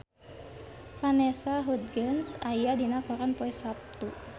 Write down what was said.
Vanessa Hudgens aya dina koran poe Saptu